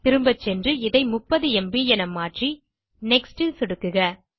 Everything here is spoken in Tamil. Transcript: திரும்ப சென்று இதை 30 ம்ப் என மாற்றி நெக்ஸ்ட் ல் சொடுக்குக